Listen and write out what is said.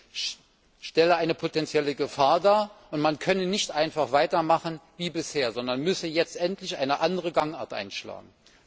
Es stelle eine potentielle Gefahr dar, und man könne nicht einfach weitermachen wie bisher, sondern müsse jetzt endlich eine andere Gangart einschlagen.